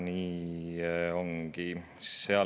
Nii ongi.